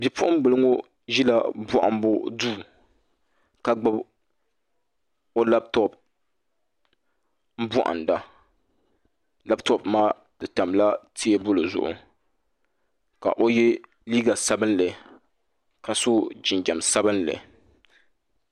Bipuɣunbili ŋo ʒila bohambu duu ka gbuni o labtop bohanda labtop maa di tamla teebuli zuɣu ka o yɛ liiga sabinli ka so jinjɛm sabinli